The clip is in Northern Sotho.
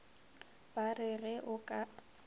ba re ge o ka